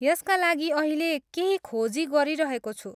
यसका लागि अहिले केही खोजी गरिरहेको छु।